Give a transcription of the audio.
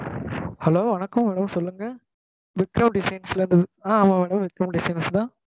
Hello வணக்கம் madam சொல்லுங்க Vikram designs ல இருந்து ஆஹ் ஆமா madam விக்ரம் designs தான்